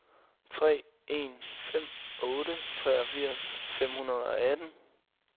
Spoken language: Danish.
tre en fem otte treogfirs fem hundrede og atten